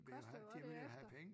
Vil jo have det vil jo have penge